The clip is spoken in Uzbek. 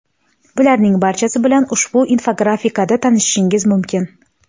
Bularning barchasi bilan ushbu infografikada tanishishingiz mumkin.